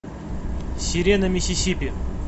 сирена миссисипи